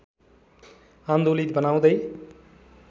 आन्दोलित बनाउँदै